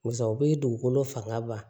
Barisa u bi dugukolo fanga ban